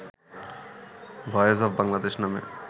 বয়েস অফ বাংলাদেশ' নামে